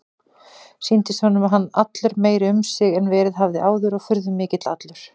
Sýndist honum hann allur meiri um sig en verið hafði áður og furðumikill allur.